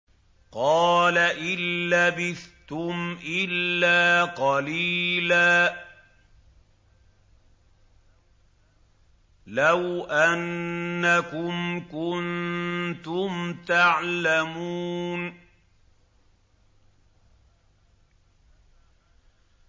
قَالَ إِن لَّبِثْتُمْ إِلَّا قَلِيلًا ۖ لَّوْ أَنَّكُمْ كُنتُمْ تَعْلَمُونَ